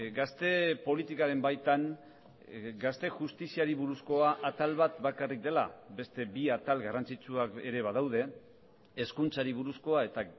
gazte politikaren baitan gazte justiziari buruzkoa atal bat bakarrik dela beste bi atal garrantzitsuak ere badaude hezkuntzari buruzkoa eta